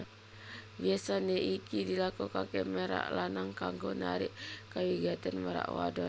Biyasané iki dilakokaké merak lanang kanggo narik kawigatèn merak wadon